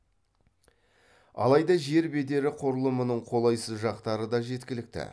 алайда жер бедері құрылымының қолайсыз жақтары да жеткілікті